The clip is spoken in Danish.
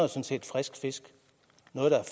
respekt